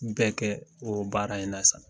Nin bɛɛ kɛ o baara in na sa